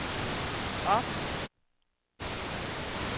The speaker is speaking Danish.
op